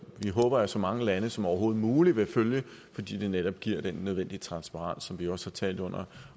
vi håber at så mange lande som overhovedet muligt vil følge fordi de netop giver den nødvendige transparens som vi også har talt om under